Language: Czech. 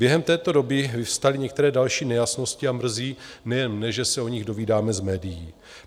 Během této doby vyvstaly některé další nejasnosti a mrzí nejen mne, že se o nich dovídáme z médií.